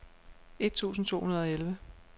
et tusind to hundrede og elleve